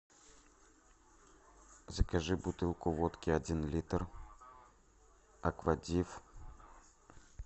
закажи бутылку водки один литр аквадив